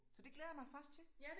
Så det glæder jeg mig faktisk til